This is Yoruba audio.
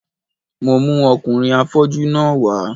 Mo mú ọkùnrin afọ́jú náà wá